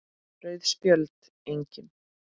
Rauð Spjöld: Engin.